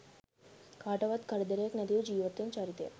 කාටවත් කරදරයක් නැතිව ජීවත්වන චරිතයක්.